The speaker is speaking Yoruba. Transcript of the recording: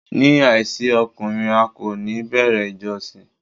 Ní àìsí ọkùnrin, a kò ní bẹ̀rẹ̀ ìjọsìn.